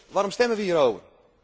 Waarom stemmen wij hierover?